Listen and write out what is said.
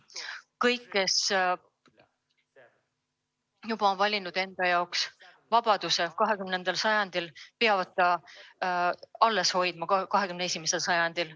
Kõik, kes on valinud enda jaoks vabaduse 20. sajandil, peavad selle alles hoidma ka 21. sajandil.